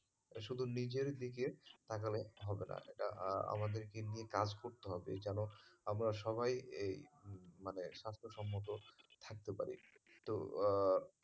এটা শুধু নিজের দিকে তাকালে হবে না এটা আমাদেরকে নিয়ে কাজ করতে হবে যেন আমরা সবাই এই মানে স্বাস্থ্যসম্মত থাকতে পারি তো আহ